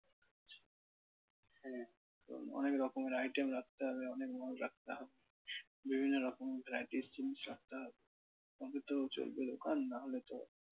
অনেক রকমের item রাখতে হবে অনেক মাল রাখতে হবে। বিভিন্ন রকম varieties জিনিস রাখতে হবে তবে তো চলবে দোকান না হলে তো